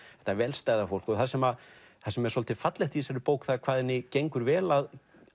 þetta vel stæða fólk og það sem það sem er svolítið fallegt í þessari bók það er hvað henni gengur vel að